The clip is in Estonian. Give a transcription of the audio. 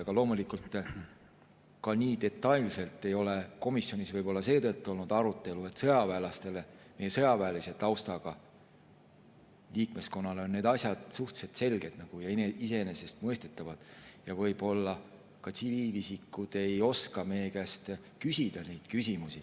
Aga loomulikult ei ole komisjonis ka nii detailset arutelu olnud võib-olla seetõttu, et meie sõjaväelise taustaga liikmeskonnale on need asjad suhteliselt selged ja iseenesestmõistetavad ning võib-olla tsiviilisikud ei oska meie käest neid küsimusi küsida.